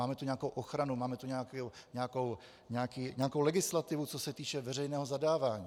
Máme tu nějakou ochranu, máme tu nějakou legislativu, co se týče veřejného zadávání.